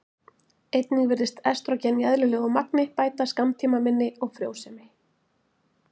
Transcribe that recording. einnig virðist estrógen í eðlilegu magni bæta skammtímaminni og frjósemi